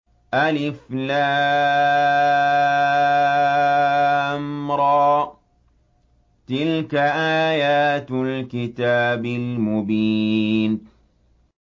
الر ۚ تِلْكَ آيَاتُ الْكِتَابِ الْمُبِينِ